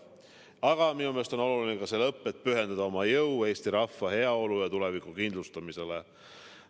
Aga minu meelest on oluline ka see lõpp, et pühendada oma jõu eesti rahva heaolu ja tuleviku kindlustamisele.